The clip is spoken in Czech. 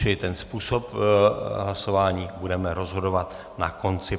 Čili o způsobu hlasování budeme rozhodovat na konci.